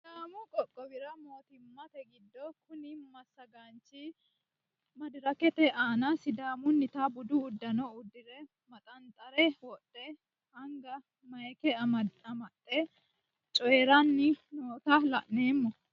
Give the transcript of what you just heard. Sidaammu qoqqowwi moottima giddo kuni massagganichi maddirrakkete aanna sidaamunita buddu uddano udidire maxanixirre wodhe aniga maayikke amaxxe cooyirani nootta la'nnemo